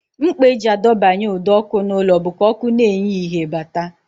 Mkpa e ji adọbanye ụdọọkụ n'ụlọ bụ ka ọkụ na-enye ìhè bata